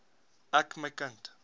ek my kind